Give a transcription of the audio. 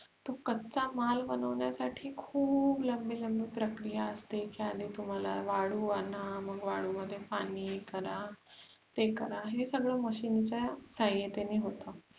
तो कच्चा माल बनवण्यासाठी खुप लंबी लांबी प्रक्रिया असते ज्याने तुम्हाला वाळू आणा मग वाळू मध्ये पाणी हे करा ते करा हे सगळ MACHINE च्या सहायातेने होते